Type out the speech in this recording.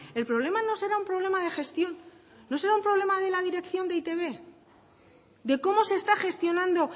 el problema no será un problema de gestión no será un problema de la dirección de eitb de cómo se está gestionando